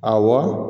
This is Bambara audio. Awɔ